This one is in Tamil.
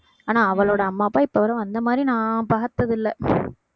ஆனா அவளோட அம்மா அப்பா இப்பவரை வந்த மாதிரி நான் பார்த்ததில்லை